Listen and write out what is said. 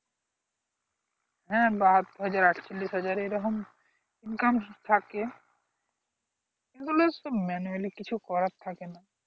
হ্যাঁ বা আট হাজার আটচল্লিশ হাজারে এরকম income থাকে এগুলো তো manually কিছু করার থাকে না